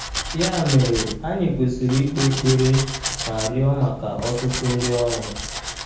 Ya mere, anyị kwesịrị ikpe ekpere ma rịọ maka ọtụtụ ndị ọrụ.